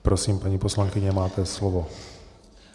Prosím, paní poslankyně, máte slovo.